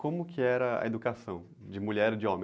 Como que era a educação de mulher e de homem?